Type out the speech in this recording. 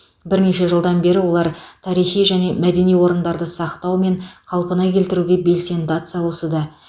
бірнеше жылдан бері олар тарихи және мәдени орындарды сақтау мен қалпына келтіруге белсенді атсалысуда